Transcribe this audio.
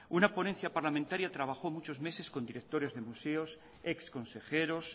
una ponencia parlamentaria trabajó muchos meses con directores de museos exconsejeros